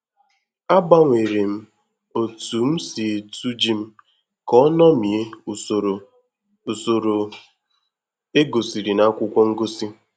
Agbanwere m otu m si etu ji m ka o ṅomie usoro usoro egosiri na akwụkwọ ngosi